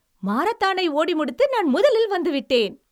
மாரத்தானை ஓடி முடித்து நான் முதலில் வந்து விட்டேன்.